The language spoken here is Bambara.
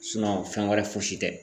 fɛn wɛrɛ fosi tɛ.